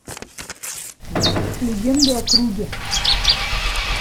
легенды о круге